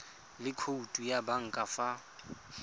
le khoutu ya banka fa